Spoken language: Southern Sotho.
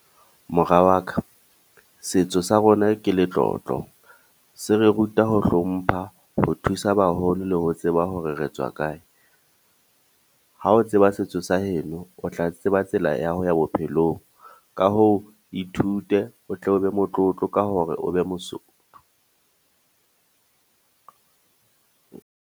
Mora wa ka, setso sa rona ke letlotlo, se re ruta ho hlompha, ho thusa baholo le ho tseba hore re tswa kae. Ha o tseba se setso sa heno o tla tseba tsela ya ho ya bophelong. Ka hoo, ithute o tle o be motlotlo ka hore o be Mosotho.